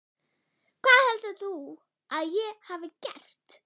Hvað heldur þú að ég hafi gert?